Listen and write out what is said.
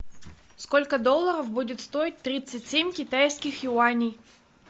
сколько долларов будет стоить тридцать семь китайских юаней